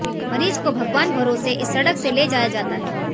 मरीज को भगवान भरोसे इस सड़क से ले जाया जाता है